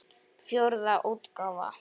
Fjórða útgáfa.